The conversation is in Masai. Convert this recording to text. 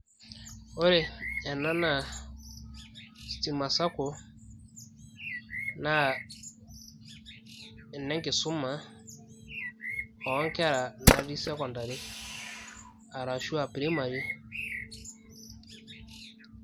ore ena naa stima sacco naa enenkisuma oonkera natii sekondari arashu aa primary.